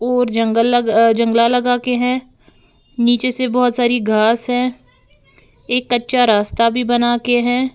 और जंगल लग जंगला लगा के हैं नीचे से बहुत सारी घास है एक कच्चा रास्ता भी बना के है।